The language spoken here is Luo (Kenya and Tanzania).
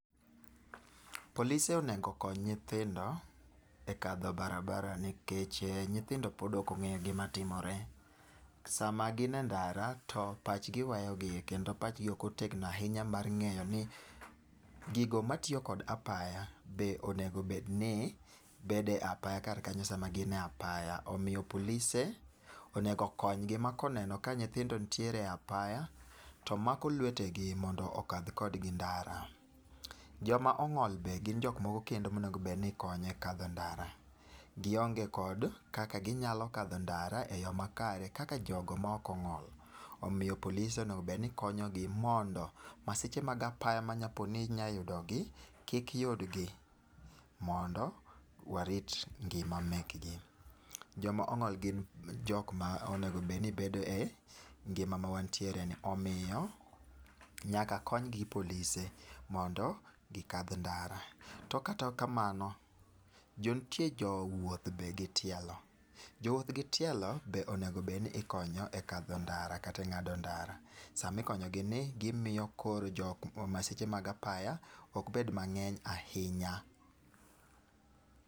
Polise onego okony nyithindo e kadho barabara nikeche nyithindo pod ok ong'e gima timore. Sama gin e ndara to pachgi weyogi kendo pachgi okotegno ahinya mar ng'eyo ni gigo matiyo kod apaya be onegobedni bedo e apaya kar kanyo sama gine apaya. Omiyo polise onego konygi ma koneno ka nyithindo nitiere apaya, yo mako lwetegi mondo okadhkodgi ndara. Joma ong'ol be gin jok moko kedno monegobedni ikonyo e kadho ndara. Gionge kod kaka ginyalo kadho ndara e yo makare kaka jogo ma ok ong'ol. Omiyo polise onegobedni konyogi mondo masiche mag apaya manya po ni nyayudogi kik yudgi, mondo warit ngima mekgi. Joma ong'ol gin jokma onegobedni bedo e ngima ma wantiereni. Omiyo, nyaka konygi gi polise mondo gikal ndara. To kata kamano, jontie jo wuoth be gi tielo. Jowuoth gi tielo be onegobedni ikonyo e kadho ndara kata e ng'ado ndara. Samikonyogi ni gimoyo koro masiche mag apaya ok bed mang'eny ahinya.